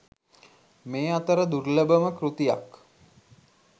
මේ අතර දුර්ලභම කෘතියක්